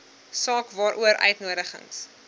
saak waaroor uitnodigings